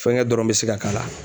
Fɛnkɛ dɔrɔn be se ka k'a la.